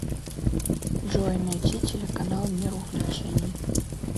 джой найти телеканал мир увлечений